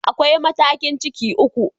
Akwai matakin cikin uku.